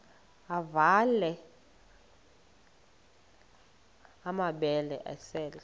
avela amabele esel